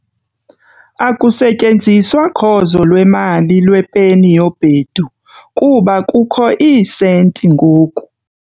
Akusasetyenziswa khozo lwemali lwepeni yobhedu kuba kukho iisenti ngoku.